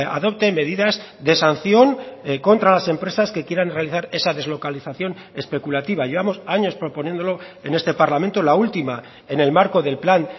adopte medidas de sanción contra las empresas que quieran realizar esa deslocalización especulativa llevamos años proponiéndolo en este parlamento la última en el marco del plan